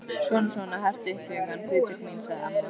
Svona svona, hertu upp hugann, Guðbjörg mín sagði amma.